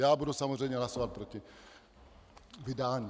Já budu samozřejmě hlasovat proti vydání.